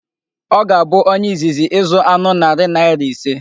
Ọ ga-abụ onye izizi ịzụ anụ narị naira ise.